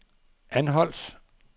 Anholt